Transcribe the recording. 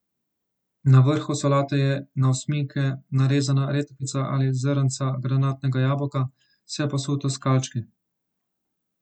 Na vrhu solate je na osminke narezana redkvica ali zrnca granatnega jabolka, vse posuto s kalčki.